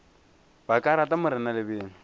ba ka rata mna lebelo